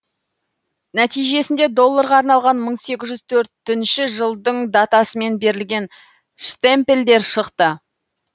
нәтижесінде долларға арналған мың сегіз жүз төртінші жылдың датасымен берілген штемпельдер шықты